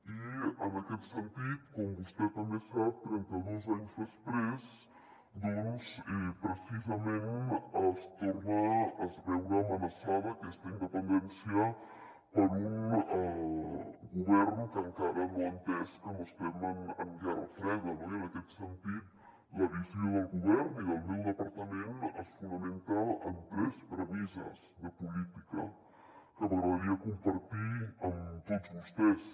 i en aquest sentit com vostè també sap trenta dos anys després doncs precisament es torna a veure amenaçada aquesta independència per un govern que encara no ha entès que no estem en guerra freda no i en aquest sentit la visió del govern i del meu departament es fonamenta en tres premisses de política que m’agradaria compartir amb tots vostès